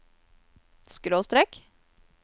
skråstrek